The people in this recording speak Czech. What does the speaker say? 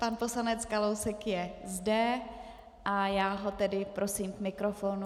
Pan poslanec Kalousek je zde a já ho tedy prosím k mikrofonu.